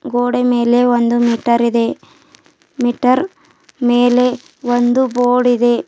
ಗೋಡೆ ಮೇಲೆ ಒಂದು ಮೀಟರ್ ಇದೆ ಮೀಟರ್ ಮೇಲೆ ಒಂದು ಬೋರ್ಡ್ ಇದೆ.